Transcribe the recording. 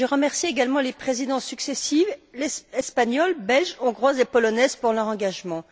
Je remercie également les présidences successives, espagnole, belge, hongroise et polonaise, pour leur engagement.